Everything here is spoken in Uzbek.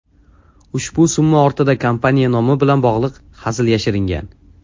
Ushbu summa ortida kompaniya nomi bilan bog‘liq hazil yashiringan.